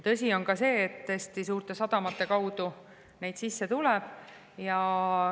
Tõsi on ka see, et suurte sadamate kaudu neid sisse tuleb.